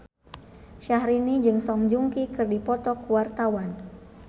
Syahrini jeung Song Joong Ki keur dipoto ku wartawan